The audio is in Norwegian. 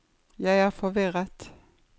jeg er forvirret